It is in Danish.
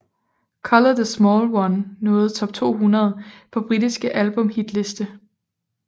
Colour the Small One nåede top 200 på britiske albumhitliste